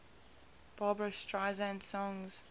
barbra streisand songs